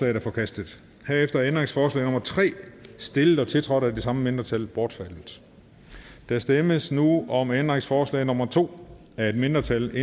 er forkastet herefter er ændringsforslag nummer tre stillet og tiltrådt af de samme mindretal bortfaldet der stemmes nu om ændringsforslag nummer to af et mindretal